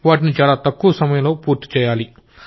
వాటిని చాలా తక్కువ సమయంలో పూర్తి చెయ్యాలి